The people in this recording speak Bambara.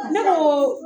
Ne ko